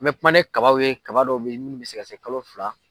An bɛ kuma ni kabaw ye kaba dɔ bɛ ye minnu bɛ se ka se kalo fila.